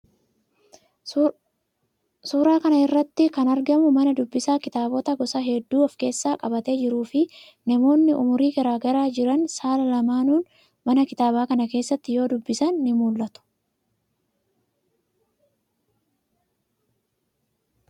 Suuraa kana irratti kan argamu mana dubbisaa kitaabota gosa hedduu of keessatti qabatee jiruufi, namootni umurii garaa garaa irra jiran, saala lamaanuun mana kitaabaa kana keessatti yoo dubbisan ni mul'ata.